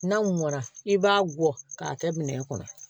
N'a mɔna i b'a bɔ k'a kɛ minɛn kɔnɔ